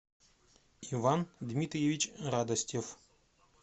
иван дмитриевич радостев